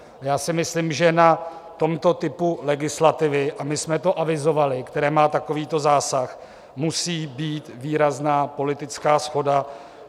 Já si myslím, že na tomto typu legislativy - a my jsme to avizovali - který má takovýto zásah, musí být výrazná politická shoda.